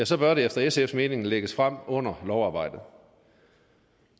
så bør det efter sfs mening lægges frem under lovarbejdet